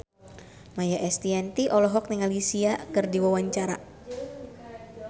Maia Estianty olohok ningali Sia keur diwawancara